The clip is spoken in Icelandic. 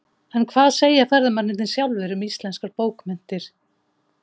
En hvað segja ferðamennirnir sjálfir um íslenskar bókmenntir?